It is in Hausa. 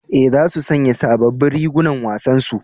E, za su sanya sabobbin rigunan wasan su.